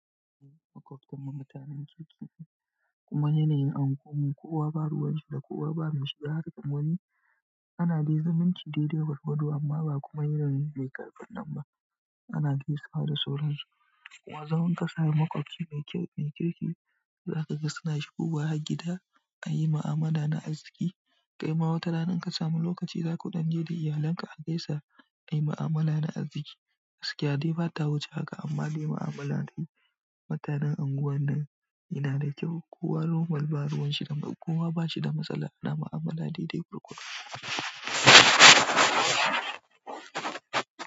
Maƙwabtan mu mutanen kirki kuma yanayin unguwar mu, ko wa ba ruwan shi da ko wa ba mai shi, ga harkan wani ana dai zumunci daidai gwargwado amma ba kuma irin mai ƙarfin nan ba. Ana gaisawa da sauransu kuma zaman ƙasa da makwabi mai kirki, za ka ga suna shigowa har gida ayi ma'amala na arziki. Kai ma watana in ka samu lokaci, za kuɗan je da iyalinka a gaisa ayi ma'amala na arziki. Gaskiya dai ba ta wuce haka amma dai ma'amala dai mutanen unguwar nan yana da kyau. Kowa normal baruqanshi da kowa bashida madala na mu'amala daidai gwargwado.